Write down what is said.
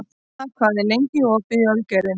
Emma, hvað er lengi opið í Ölgerðinni?